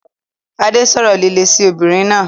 Adé sọ̀rọ̀ líle sí obìnrin náà.